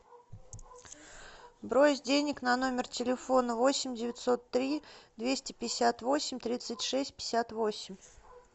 брось денег на номер телефона восемь девятьсот три двести пятьдесят восемь тридцать шесть пятьдесят восемь